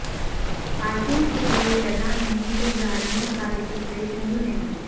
parking کیلئے جگہ نہیں تو گاڑیوں کا رجسٹریشن بھی نہیں